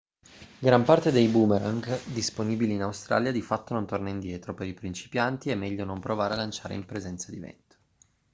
gran parte dei boomerang disponibili in australia di fatto non torna indietro per i principianti è meglio non provare a lanciare in presenza di vento